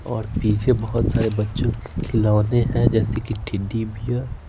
और पीछे बहुत सारे बच्चों के खिलौने हैं जैसे कि टैडी बियर ।